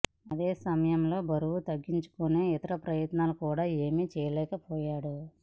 అదే సమయంలో బరువు తగ్గించుకునే ఇతర ప్రయత్నాలు కూడా ఏమీ చేయలేకపోయాడు